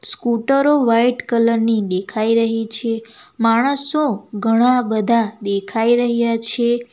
સ્કૂટરો white colour ની દેખાઈ રહી છે માણસો ઘણા બધા દેખાઈ રહ્યા છે.